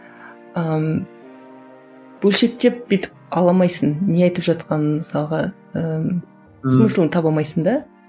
ыыы бөлшектеп бүйтіп ала алмайсың не айтып жатқанын мысалға ыыы смысылын таба алмайсың да